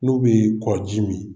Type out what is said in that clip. N'u bɛ kɔji min